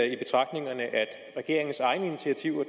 regeringens egne initiativer